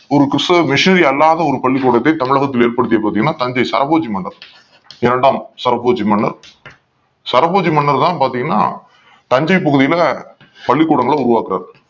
ஒரு கிறிஸ்துவ மிஷனரி அல்லாத பள்ளிக்கூடத்தை தமிழகத்தில் ஏற் படுத்தியது பாத்தீங்கன்னா தஞ்சை சரபோஜி மன்னர் இரண்டாம் சரபோஜி மன்னர் சரபோஜி மன்னர் தான் பார்த்தீங்கன்னா தஞ்சை பகுதியில் பள்ளிக்கூடங்கள் உருவாக்குகிறார்